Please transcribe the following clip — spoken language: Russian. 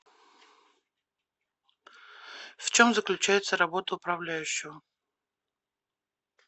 в чем заключается работа управляющего